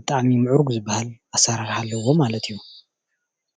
ብጣዕሚ ምዕሩግ ዝበሃል ኣሰራርሓ ኣለዎ ማለት እዩ፡፡